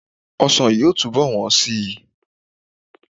Ọsàn yóò túnbọ̀ wọ́n síi.